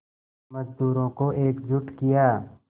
मज़दूरों को एकजुट किया